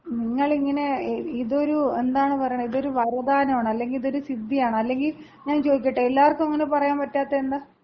നിങ്ങളിങ്ങനെ, ഇതൊരു എന്താണ് പറയണെ, ഇതൊരു വരദാനമാണ്. അല്ലെങ്കി ഇതൊരു സിദ്ധിയാണ്. അല്ലെങ്കി ഞാൻ ചോദിക്കട്ടെ എല്ലാവർക്കും അങ്ങനെ പറയാൻ പറ്റാത്തതെന്താ?